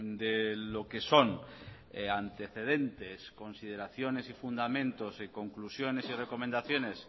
de lo que son antecedentes consideraciones y fundamentos conclusiones y recomendaciones